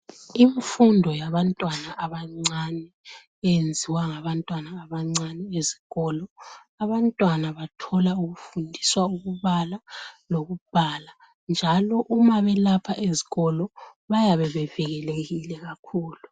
Imfundo yabantwana abancane, yenziwa ngabantwana abancane ezikolo. Abantwana bathola ukufundiswa ukubala lokubhala njalo uma belapha ezikolo bayabe bevikelekile kakhulu.